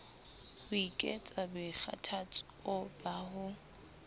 ho ekets boikgathatso ba ho